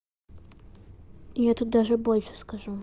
я тут даже больше скажу